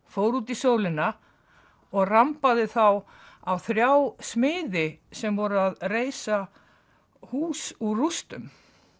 fór út í sólina og rambaði þá á þrjá smiði sem voru að reisa hús úr rústum